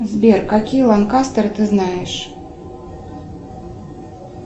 сбер какие ланкастеры ты знаешь